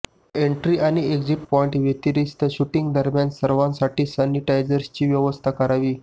entry आणि exit पाॉईंटव्यतिरिस्त शुटिंगदरम्यान सर्वांसाठी सॅनिटायझरची व्यवस्था करावी